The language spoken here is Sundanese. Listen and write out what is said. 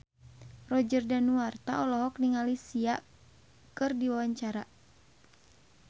Roger Danuarta olohok ningali Sia keur diwawancara